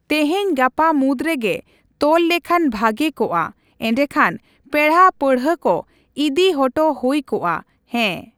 ᱛᱮᱦᱮᱧᱼᱜᱟᱯᱟ ᱢᱩᱫᱽ ᱨᱮᱜᱮ ᱛᱚᱞ ᱞᱮᱠᱷᱟᱱ ᱵᱷᱟᱹᱜᱤ ᱠᱚᱜᱼᱟ᱾ ᱮᱸᱰᱮ ᱠᱷᱟᱱ ᱯᱮᱲᱟᱼᱯᱟᱺᱲᱦᱟᱹ ᱠᱚ ᱤᱫᱤ ᱦᱚᱴᱚ ᱦᱩᱭ ᱠᱚᱜᱼᱟ᱾ ᱦᱮᱸ᱾